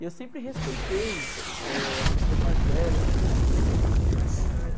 E eu sempre respeitei, eh, as pessoas mais velhas, sempre respeitei as pessoas que têm mais conhecimento.